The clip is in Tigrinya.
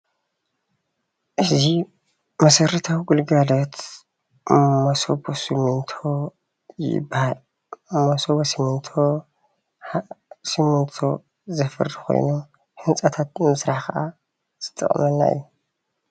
እዚ መሰረታዊ ግልጋሎት መሰቦ ስሚንቶ ይበሃል መሰቦ ሲሚንቶ ስሚንቶ ዘፍሪ ኮይኑ ህንፃታት ንምስራሕ ከኣ ዝጠቅመና እዩ